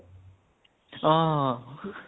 অ অ অ